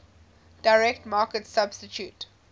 direct market substitute